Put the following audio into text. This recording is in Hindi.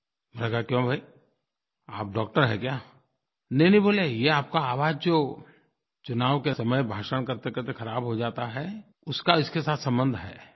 मैंने कहा क्यों भाई आप डॉक्टर हैं क्या नहींनहीं बोले ये आपका आवाज़ जो चुनाव के समय भाषण करतेकरते ख़राब हो जाता है उसका इसके साथ संबंध है